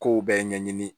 Kow bɛɛ ɲɛɲini